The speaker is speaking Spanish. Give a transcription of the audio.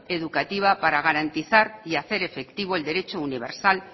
educativa para garantizar y hacer efectivo el derecho universal